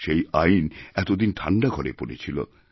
সেই আইন এতদিন ঠাণ্ডাঘরে পড়েছিল